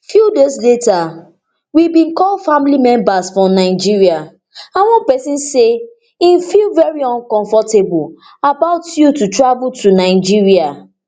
few days later we bin call family members for nigeria and one pesin say im feel very uncomfortable about you to travel to nigeria